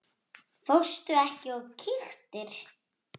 Fórstu ekki og kíktir?